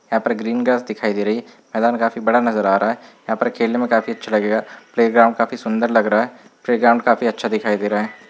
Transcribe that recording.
यहाँ पर green grass दिखाई दे रही है मैदान काफी बड़ा नज़र आ रहा है यहाँ पर खेलने में काफी अच्छा लगेगा प्लेग्राउंड काफी सूंदर लग रहा है प्लेग्राउंड काफी अच्छा दिखाई दे रहा है |